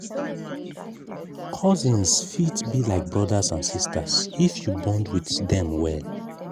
cousins fit be like brothers and sisters if you bond with dem well.